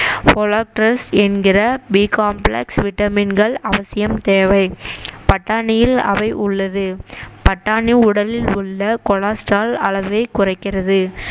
என்கிற B complex வைட்டமின்கள் அவசியம் தேவை பட்டாணியில் அவை உள்ளது பட்டாணி உடலில் உள்ள கொலெஸ்டெரால் அளவை குறைக்கிறது